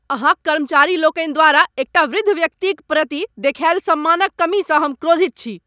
अहाँक कर्मचारी लोकनि द्वारा एकटा वृद्ध व्यक्तिक प्रति देखायल सम्मानक कमीसँ हम क्रोधित छी।